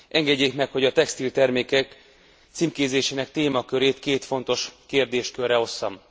Engedjék meg, hogy a textiltermékek címkézésének témakörét két fontos kérdéskörre osszam.